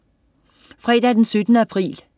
Fredag den 17. april